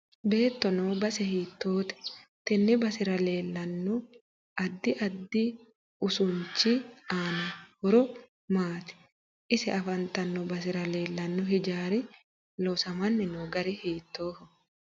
Beeto noo base hiitoote tenne basera leelanno addi addi usuunichi aano horo maati ise afantanno basera leelanno hijaari loosaminno gari hiitooho